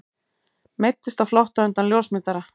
Meiddist á flótta undan ljósmyndara